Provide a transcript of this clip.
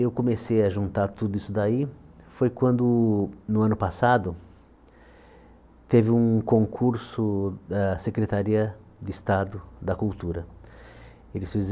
Eu comecei a juntar tudo isso daí foi quando, no ano passado, teve um concurso da Secretaria de Estado da Cultura. Eles fizeram